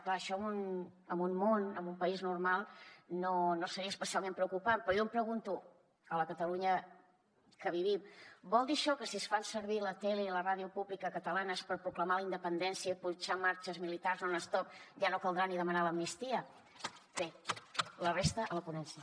clar això en un món en un país normal no seria especialment preocupant però jo em pregunto a la catalunya en què vivim vol dir això que si es fan servir la tele i la ràdio públiques catalanes per proclamar la independència i punxar marxes militars non stop ja no caldrà ni demanar l’amnistia bé la resta a la ponència